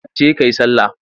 Je ka ka yi sallah!